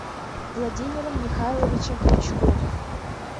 владимиром михайловичем крючковым